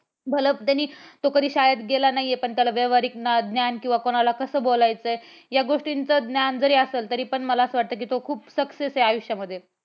भलं त्यांनी तो कधी शाळेत गेला नाही आहे, पण त्याला व्यावहारिक ज्ञान किंवा कोणाला कसं बोलायचंय या गोष्टीचा ज्ञान असल तरी पण मला असं वाटत कि तो खूप success आहे आयुष्यामध्ये